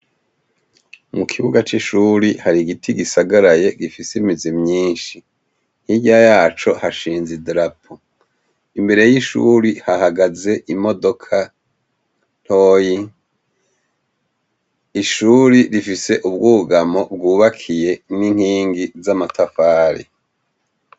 Mu kibuga c'ishuri hari igiti gisagaraye gifise imizi myinshi, hirya yaco hashinze idarapo, imbere y'ishuri hahagaze imodoka ntoyi, ishure rifise ubwugamo bwubakiye n'inkingi ry'amatafari.